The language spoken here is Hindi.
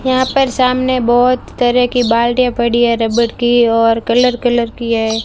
हां पर सामने बहोत तरह की बाल्टीया पड़ी है रबड़ की और कलर कलर की है।